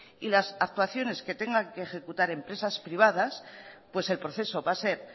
y las actuaciones que tengan que ejecutar empresas privadas pues el proceso va a ser